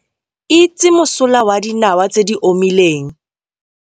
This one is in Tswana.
Itse mosola wa dinawa tse di omileng